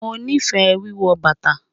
Mo nifẹ́ wíwọ́ bátà